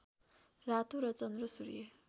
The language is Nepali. रातो र चन्द्र सूर्य